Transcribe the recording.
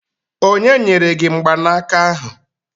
Onye nyere gi mgbanaka ahụ?